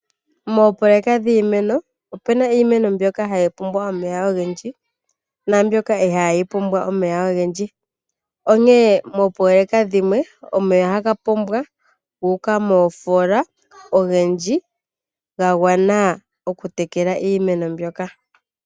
Moopololeka dhiimeno, ope na iimeno mbyoka hayi pumbwa omeya ogendji, nambyoka ihayi pumbwa omeya ogendji. Onkene moopololeka omeya ohaga pombwa ga uka moofola ogendji ga gwana okutekela iimeno mbyoka.